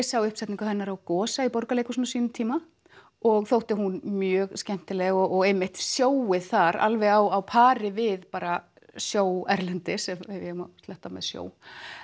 sá uppsetningu hennar á Gosa í Borgarleikhúsinu á sínum tíma og þótti hún mjög skemmtileg og einmitt showið þar alveg á pari við bara show erlendis ef ég má sletta með show